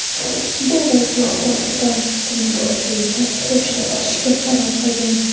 Bu vaziyatda ekipaj uskunalar bo‘yicha qo‘nishga qaror qilgan.